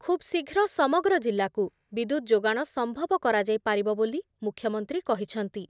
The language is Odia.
ଖୁବ୍ ଶୀଘ୍ର ସମଗ୍ର ଜିଲ୍ଲାକୁ ବିଦ୍ୟୁତ୍ ଯୋଗାଣ ସମ୍ଭବ କରାଯାଇ ପାରିବ ବୋଲି ମୂଖ୍ୟମନ୍ତ୍ରୀ କହିଛନ୍ତି ।